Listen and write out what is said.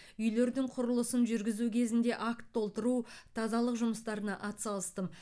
үйлердің құрылысын жүргізу кезінде акт толтыру тазалық жұмыстарына атсалыстым